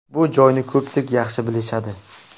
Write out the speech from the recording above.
Bu joyni ko‘pchilik yaxshi bilishadi.